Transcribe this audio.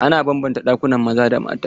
Ana banbanta ɗakunan kwanan maza da na mata.